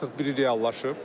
Bunun artıq biri reallaşıb.